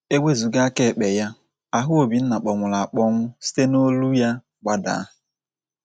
E wezụga aka ekpe ya, ahụ Obinna kpọnwụrụ akpọnwụ site n’olu ya gbadaa.